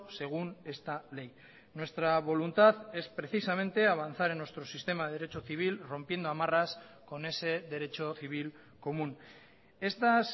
según esta ley nuestra voluntad es precisamente avanzar en nuestro sistema de derecho civil rompiendo amarras con ese derecho civil común estas